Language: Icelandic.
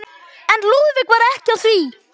En Lúðvík var ekki á því.